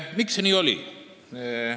Miks see nii oli?